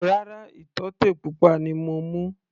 Rárá, ìtọ́tè pupa ni mo mú.